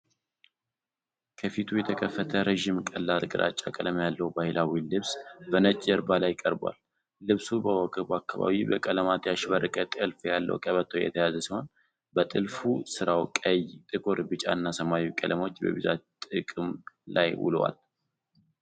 ከፊቱ የተከፈተ፣ ረዥም፣ ቀላል ግራጫ ቀለም ያለው ባህላዊ ልብስ በነጭ ጀርባ ላይ ቀርቧል። ልብሱ በወገቡ አካባቢ በቀለማት ያሸበረቀ ጥልፍ ያለው ቀበቶ የተያዘ ሲሆን፣ በጥልፍ ሥራው ቀይ፣ ጥቁር፣ ቢጫና ሰማያዊ ቀለሞች በብዛት ጥቅም ላይ ውለዋል።